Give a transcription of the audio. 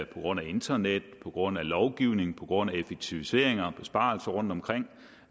på grund af internet på grund af lovgivning på grund af effektiviseringer og besparelser rundtomkring